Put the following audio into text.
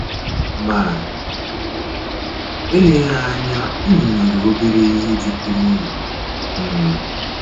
Ma eleghi eleghi anya unu nwere obere ihe jikọrọ unu um